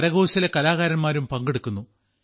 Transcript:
കരകൌശല കലാകാരന്മാരും പങ്കെടുക്കുന്നു